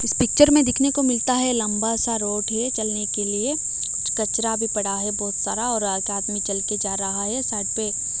इस पिक्चर में दिखने को मिलता है लंबा सा रोड है चलने के लिए कुछ कचरा भी पड़ा है बहुत सारा और आगे आदमी चल के जा रहा हैं साइड पे--